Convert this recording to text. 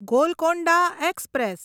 Golconda express